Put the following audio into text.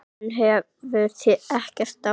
Hann hefur ekkert á móti því.